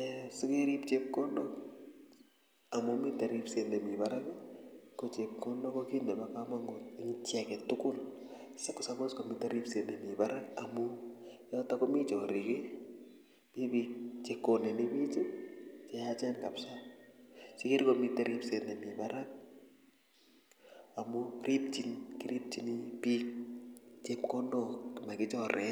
eeh sikerip chepkondok komite ripset nemi barak ko chepkondok kokit nebo komonut eng chi aketugul siko suppose komite ripset nemi barak amu yotok komi chorik mi bik chekoneni bich cheyaachen kapsa sikkere komite ripset nemi barak amu kiripchin bik chepkondok makichore